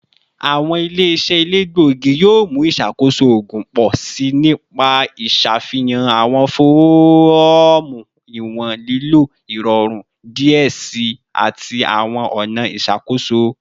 Awọn ile-iṣẹ elegbogi yoo mu iṣakoso oogun pọ si nipa iṣafihan awọn fọọmu iwọn lilo irọrun diẹ sii ati awọn ọna iṣakoso